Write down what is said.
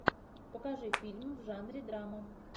покажи фильм в жанре драма